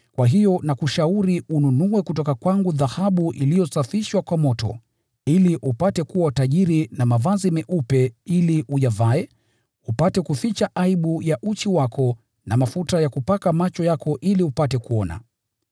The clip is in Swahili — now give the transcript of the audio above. Nakushauri ununue kutoka kwangu dhahabu iliyosafishwa kwa moto, ili upate kuwa tajiri, na mavazi meupe ili uyavae upate kuficha aibu ya uchi wako, na mafuta ya kupaka macho yako ili upate kuona.